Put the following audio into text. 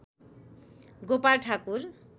Gopal Thakur